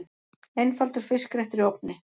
Einfaldur fiskréttur í ofni